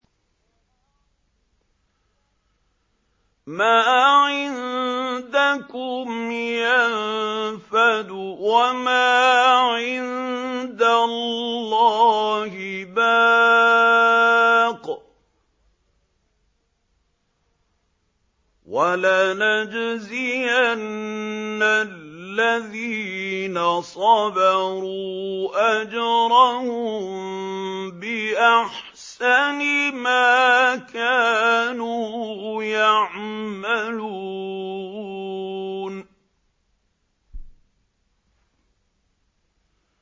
مَا عِندَكُمْ يَنفَدُ ۖ وَمَا عِندَ اللَّهِ بَاقٍ ۗ وَلَنَجْزِيَنَّ الَّذِينَ صَبَرُوا أَجْرَهُم بِأَحْسَنِ مَا كَانُوا يَعْمَلُونَ